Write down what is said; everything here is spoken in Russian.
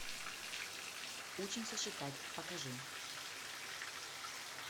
учимся считать покажи